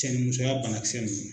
Cɛnimusoya banakisɛ ninnu.